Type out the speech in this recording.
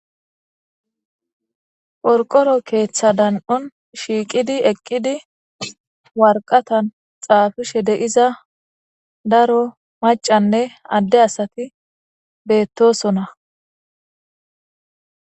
porqoro keeththa dan7on shiiqidi eqqidi warqatan xaafishe deiza daro macanne adde asati beettosona